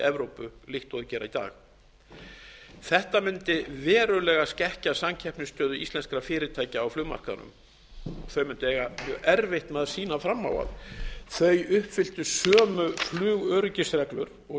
evrópu líkt og þau gera í dag þetta mundi verulega skekkja samkeppnisstöðu íslenskra fyrirtækja á flugmarkaðnum þau mundu eiga mjög erfitt með að sýna fram á að þau uppfylltu sömugflugöryggisreglur og